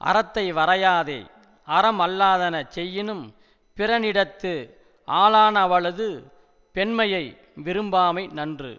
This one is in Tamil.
அறத்தை வரையாதே அறமல்லாதன செய்யினும் பிறனிடத்து ஆளானவளது பெண்மையை விரும்பாமை நன்று